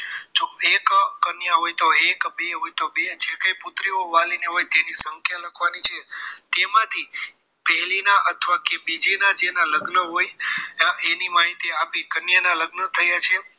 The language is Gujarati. જો એક કન્યા હોય તો એક બે હોય તો બે જે કંઈ પુત્રીઓ વાલીને હોય તેની સંખ્યા લખવાની છે તેમાંથી પહેલીના કે અથવા બીજીના જેના લગ્ન હોય એની માહિતી આપી કન્યા ના લગ્ન થયા છે